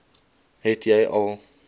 het jy al